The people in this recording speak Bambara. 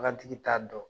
Bagantigi t'a dɔn